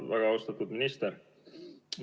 Väga austatud minister!